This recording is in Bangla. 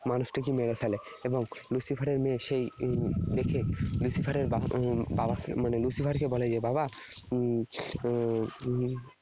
মানুষটিকে মেরে ফেলে, এবং Lucifer এর মেয়ে সেই এর দেখে Lucifer এর উম Lucifer কে বলে যে 'বাবা, এর হম